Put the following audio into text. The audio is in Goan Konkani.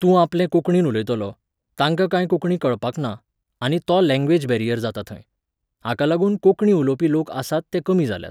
तूं आपले कोंकणीन उलयतलो, तांकां काय कोंकणी कळपाक ना, आनी तो लँग्वेज बॅरियर जाता थंय. हाका लागून कोंकणी उलोवपी लोक आसात ते कमी जाल्यात.